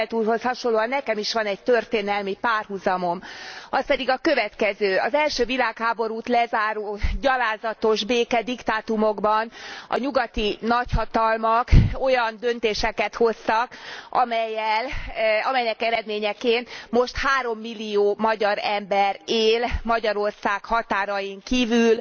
És Posselt úrhoz hasonlóan nekem is van egy történelmi párhuzamom, az pedig a következő az első világháborút lezáró gyalázatos békediktátumokban a nyugati nagyhatalmak olyan döntéseket hoztak, amelyek eredményeként most 3 millió magyar ember él Magyarország határain kívül,